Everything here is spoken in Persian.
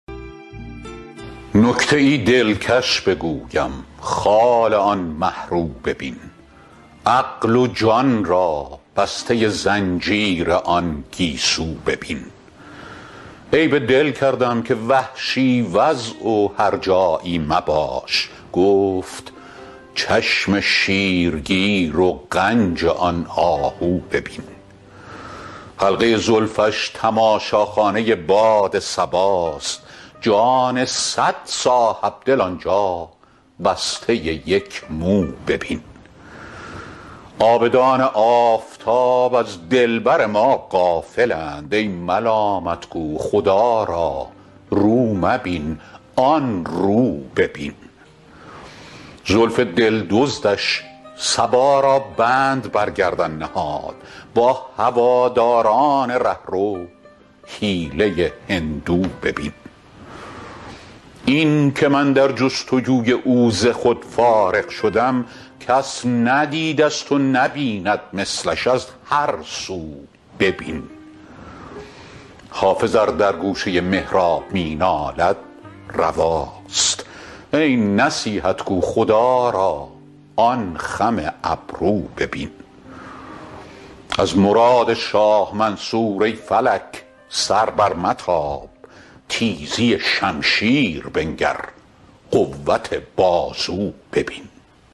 نکته ای دلکش بگویم خال آن مه رو ببین عقل و جان را بسته زنجیر آن گیسو ببین عیب دل کردم که وحشی وضع و هرجایی مباش گفت چشم شیرگیر و غنج آن آهو ببین حلقه زلفش تماشاخانه باد صباست جان صد صاحب دل آن جا بسته یک مو ببین عابدان آفتاب از دلبر ما غافل اند ای ملامت گو خدا را رو مبین آن رو ببین زلف دل دزدش صبا را بند بر گردن نهاد با هواداران ره رو حیله هندو ببین این که من در جست وجوی او ز خود فارغ شدم کس ندیده ست و نبیند مثلش از هر سو ببین حافظ ار در گوشه محراب می نالد رواست ای نصیحت گو خدا را آن خم ابرو ببین از مراد شاه منصور ای فلک سر برمتاب تیزی شمشیر بنگر قوت بازو ببین